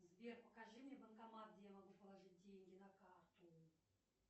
сбер покажи мне банкомат где я могу положить деньги на карту